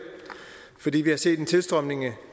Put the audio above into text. fordi vi har set en tilstrømning